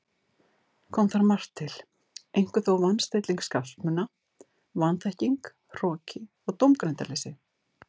Kom þar margt til, einkum þó van- stilling skapsmuna, vanþekking, hroki og dómgreindarleysi.